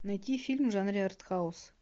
найти фильм в жанре артхаус